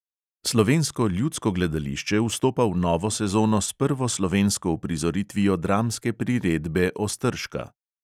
Slovensko ljudsko gledališče vstopa v novo sezono s prvo slovensko uprizoritvijo dramske priredbe ostržka.